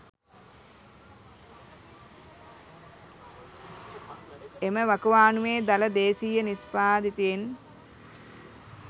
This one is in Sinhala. එම වකවානුවේ දළ දේශීය නිෂ්පාදිතයෙන්